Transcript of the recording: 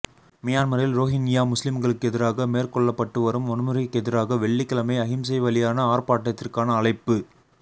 மியன்மாரில் ரோஹின்யா முஸ்லிம்களுக்கெதிராக மேற்கொள்ளப்பட்டு வரும் வன்முறைக்கெதிராக வெள்ளிக்கிழமை அகிம்சைவழியான ஆர்ப்பாட்டத்திற்கான அழைப்பு